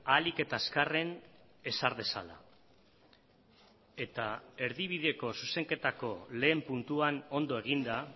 ahalik eta azkarren ezar dezala eta erdibideko zuzenketako lehen puntuan ondo eginda